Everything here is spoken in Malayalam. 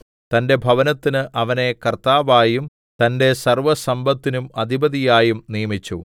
തന്റെ ഭവനത്തിന് അവനെ കർത്താവായും തന്റെ സർവ്വസമ്പത്തിനും അധിപതിയായും നിയമിച്ചു